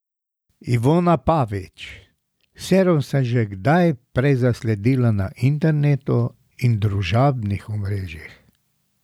Ivona Pavič: "Serum sem že prej zasledila na internetu in družabnih omrežjih.